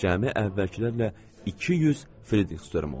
Cəmi əvvəlkilərlə 200 Fridrix störm oldu.